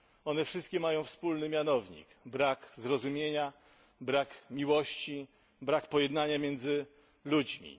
One wszystkie mają wspólny mianownik brak zrozumienia, brak miłości, brak pojednania między ludźmi.